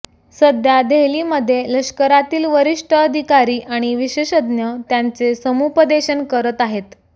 सध्या देहलीमध्ये लष्करातील वरिष्ठ अधिकारी आणि विशेषज्ञ त्याचे समुपदेशन करत आहेत